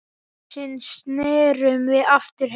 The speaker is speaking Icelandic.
Loksins snerum við aftur heim.